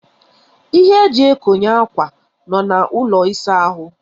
Ihe e ji ekonye akwa nọ na ụlọ ịsa ahụ.